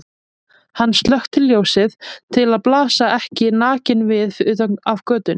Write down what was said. Hann slökkti ljósið til að blasa ekki nakinn við utan af götunni.